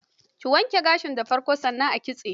Ki wanke gashin da farko, sannan a kitsa.